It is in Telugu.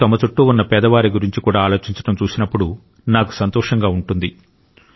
ప్రజలు తమ చుట్టూ ఉన్న పేదవారి గురించి కూడా ఆలోచించడం చూసినప్పుడు నాకు సంతోషంగా ఉంది